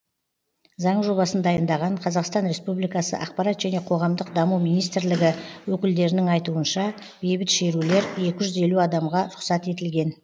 заң жобасын дайындаған қазақстан республикасы ақпарат және қоғамдық даму министрлігі өкілдерінің айтуынша бейбіт шерулер екі жүз елу адамға рұқсат етілген